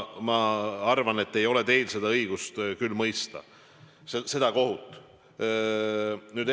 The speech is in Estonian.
Ma arvan, et teil ei ole küll õigust siin kohut mõista.